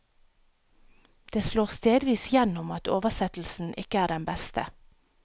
Det slår stedvis gjennom at oversettelsen ikke er den beste.